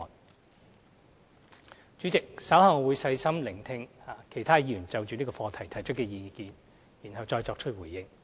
代理主席，稍後我會細心聆聽其他議員就這項課題提出的意見，然後再作出回應。